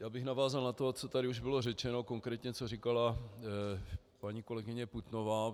Já bych navázal na to, co tady už bylo řečeno, konkrétně co říkala paní kolegyně Putnová.